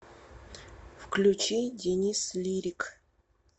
включи денис лирик